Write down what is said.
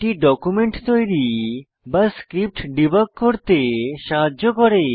এটি ডকুমেন্ট তৈরী বা স্ক্রিপ্ট ডিবাগ করতে সাহায্য করে